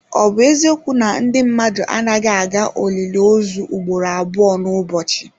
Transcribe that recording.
Ọ bụ eziokwu na ndị mmadụ anaghị aga olili ozu ugboro abụọ n'ụbọchị?